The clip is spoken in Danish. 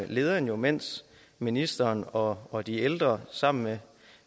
lederen jo mens ministeren og og de ældre sammen med